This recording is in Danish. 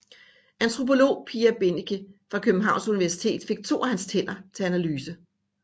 Antropolog Pia Bennike fra Københavns Universitet fik to af hans tænder til analyse